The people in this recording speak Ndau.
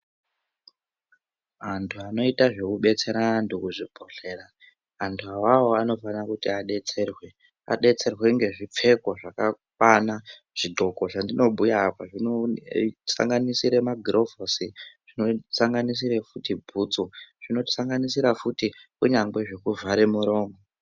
Antu anoita zvekubetsera antu kuzvibhedhlera antu avavo anofana kuti abetserwe abetserwe ngezvipfeko zvakakwa. Zvidhloko zvandinobhuya apa zvinosanganisire magurovhosi, zvinosanganisire futi bhutsu, zvinosanganisira futi kunyangwe zvekuvhara muromo.